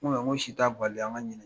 n ko si ta bali an ka ɲini.